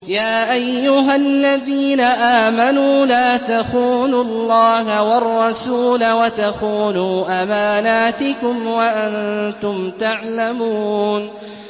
يَا أَيُّهَا الَّذِينَ آمَنُوا لَا تَخُونُوا اللَّهَ وَالرَّسُولَ وَتَخُونُوا أَمَانَاتِكُمْ وَأَنتُمْ تَعْلَمُونَ